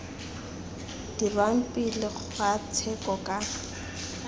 dirwang pele ga tsheko ka